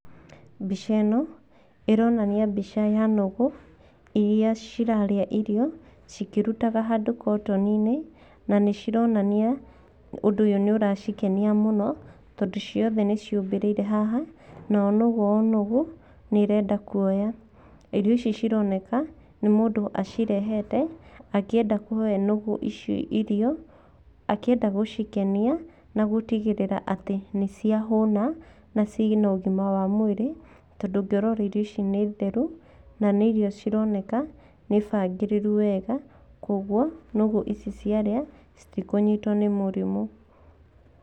Mbica ĩno , ĩronania mbica ya nũgũ, iria cirarĩa irio cikĩrutaga handũ kotoni-inĩ, na nĩ cironania ũndũ ũyũ nĩ ũracikenia mũno, tondũ ciothe nĩ ciũmbĩrĩire haha, na o nũgũ o nũgũ nĩ ĩrenda kuoya, irio ici cironeka nĩ mũndũ acirehete, akĩenda kũhe nũgũ ici irio, akĩenda gũcikenia nagũtigĩrĩra atĩ nĩ ciahũna na ciĩna ũgima wa mwĩrĩ, tondũ ũngĩrora irio ici nĩ theru, na nĩ irio cironeka nĩ bangĩrĩru wega, ũguo nũgũ ici cĩarĩa citikũnyitwo nĩ mũrimũ.